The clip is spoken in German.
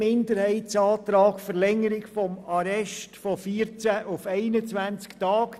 Zum Minderheitsantrag zu Artikel 42 Absatz 1 Buchstabe b